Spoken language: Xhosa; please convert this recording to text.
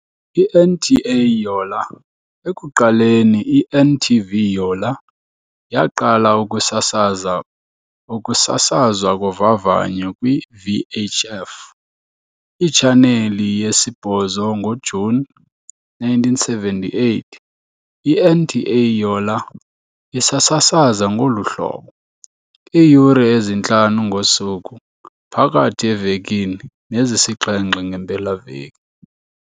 I-NTA Yola, ekuqaleni i-NTV-Yola, yaqala ukusasaza ukusasazwa kovavanyo kwi-VHF itshaneli yesi-8 ngoJuni 1978, i-NTA Yola isasasaza ngolu hlobo, iiyure ezintlanu ngosuku phakathi evekini nezisixhenxe ngeempelaveki.